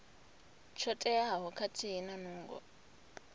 tsho teaho khathihi na nungo